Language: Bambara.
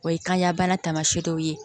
O ye kanya bana taamasiyɛn dɔ ye